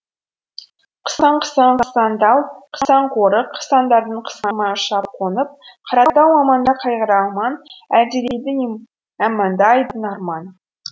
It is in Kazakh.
қысаң қысаң қысаң тау қысаң қорық қысаңдардан қысылмай ұшам қонып қаратауым аманда қайғыра алман әлдилейді әманда айдын арман